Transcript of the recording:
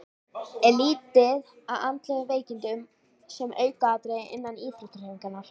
Er litið á andleg veikindi sem aukaatriði innan íþróttahreyfingarinnar?